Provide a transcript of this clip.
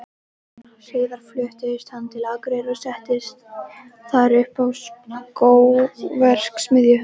Síðar fluttist hann til Akureyrar og setti þar upp skóverksmiðju.